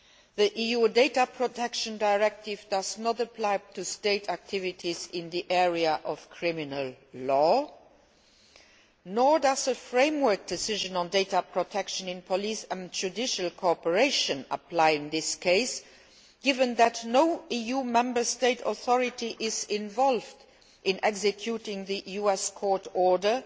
The EU's Data Protection Directive does not apply to state activities in the area of criminal law, nor does a framework decision on data protection in police and judicial cooperation apply in this case, given that no EU Member State authority is involved in executing the US court order